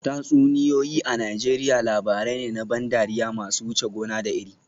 Tatsuniyoyi a Najeriya labarai ne na ban dariya masu wuce gona da iri